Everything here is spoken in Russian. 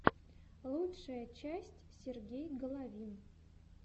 лучшая часть сергей головин